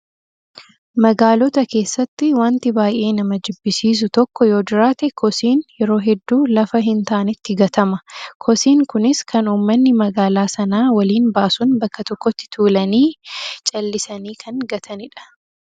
Magaalota keessatti wanti baay'ee nama jibbisiisu tokko yoo jiraate kosiin yeroo hedduu lafa hin taanetti gatama. Kosiin kunis kan uummanni magaalaa sanaa waliin baasuun bakka tokkotti tuulanii callisanii kan gatanidha.